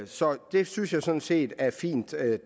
så det synes jeg sådan set er fint